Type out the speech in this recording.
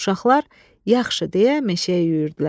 Uşaqlar, yaxşı, deyə meşəyə yüyürdülər.